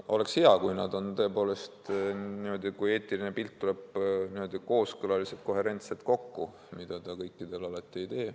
Oleks hea, kui oleks tõepoolest niimoodi, et eetiline pilt kujuneb kooskõlaliselt, koherentselt, aga alati see kõikidel puhkudel nii ei kujune.